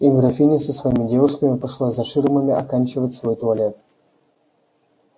и графиня со своими девушками пошла за ширмами оканчивать свой туалет